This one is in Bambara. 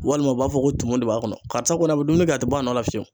Walima u b'a fɔ ko tumu de b'a kɔnɔ, karisa kɔni a bɛ dumuni kɛ a tɛ bɔ a nɔ la fiyewu.